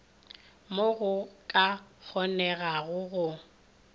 mo go ka kgonegago go